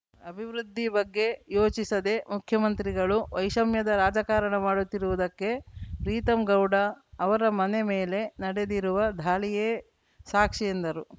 ಅಭಿವೃದ್ಧಿ ಬಗ್ಗೆ ಯೋಚಿಸದೆ ಮುಖ್ಯಮಂತ್ರಿಗಳು ವೈಷಮ್ಯದ ರಾಜಕಾರಣ ಮಾಡುತ್ತಿರುವುದಕ್ಕೆ ಪ್ರೀತಮ್‌ ಗೌಡ ಅವರ ಮನೆ ಮೇಲೆ ನಡೆದಿರುವ ದಾಳಿಯೇ ಸಾಕ್ಷಿ ಎಂದರು